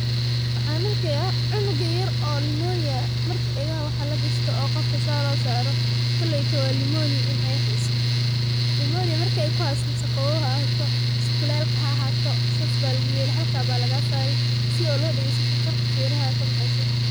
Waxan arkaya cunug yar kooley marka dagaha lagashado oo xawadka lasoro klaeyto wa nimonia in ey heyso marka ey kuheyso mise qaoow haahato mise kuleel sidas aya feraha lagasari sii shannqarta sodagesto.